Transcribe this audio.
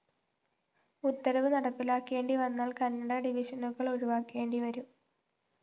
ഉത്തരവ്‌ നടപ്പിലാക്കേണ്ടി വന്നാല്‍ കന്നഡ ഡിവിഷനുകള്‍ ഒഴിവാക്കേണ്ടി വരും